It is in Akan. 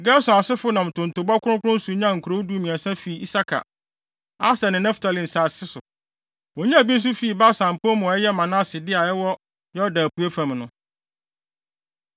Gerson asefo nam ntontobɔ kronkron so nyaa nkurow dumiɛnsa fii Isakar, Aser ne Naftali nsase so. Wonyaa bi nso fii Basan pɔw mu a ɛyɛ Manase de, a ɛwɔ Yordan apuei fam no.